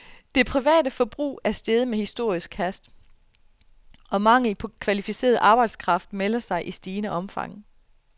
Det private forbrug er steget med historisk hast, og manglen på kvalificeret arbejdskraft melder sig i stigende omfang.